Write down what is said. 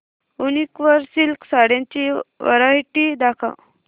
वूनिक वर सिल्क साड्यांची वरायटी दाखव